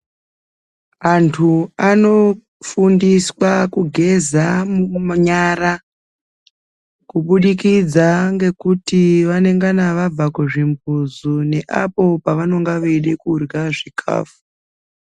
Antu anofundiswa kugeza nyara kubudikidza ngekuti vanengana vabva kuzvimbuzi neapo pavanonga veida kurya zvikafu.